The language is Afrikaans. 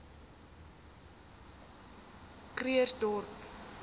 krugersdorp